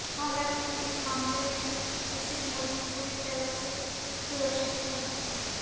हालांकि इस हमले में सुशील मोदी पूरी तरह से सुरक्षित हैं